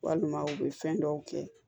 Walima u bɛ fɛn dɔw kɛ